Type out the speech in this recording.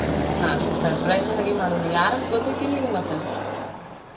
ಹ್ಮ್ surprise ಒಳಗೆ ಮಾಡೋಣ ಯಾರಂತ ಗೊತೈತ್ತಿಲ್ಲ ನಿಂಗ ಮತ್ತ?